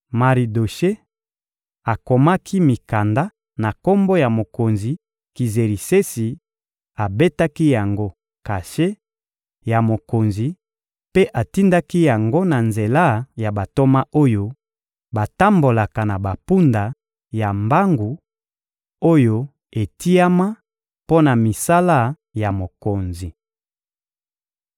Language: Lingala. Maridoshe akomaki mikanda na kombo ya mokonzi Kizerisesi, abetaki yango kashe ya mokonzi mpe atindaki yango na nzela ya bantoma oyo batambolaka na bampunda ya mbangu, oyo etiama mpo na misala ya mokonzi.